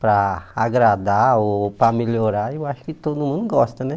para agradar ou para melhorar, eu acho que todo mundo gosta, né?